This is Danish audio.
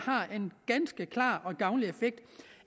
har en gavnlig effekt